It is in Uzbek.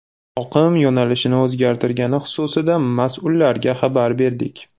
Oqim yo‘nalishini o‘zgartirgani xususida mas’ullarga xabar berdik.